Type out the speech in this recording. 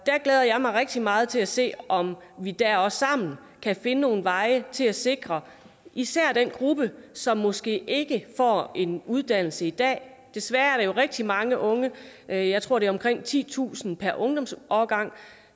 glæder jeg mig rigtig meget til at se om vi der også sammen kan finde nogle veje til at sikre især den gruppe som måske ikke får en uddannelse i dag desværre er der jo rigtig mange unge jeg jeg tror det er omkring titusind per ungdomsårgang